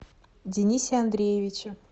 денисе андреевиче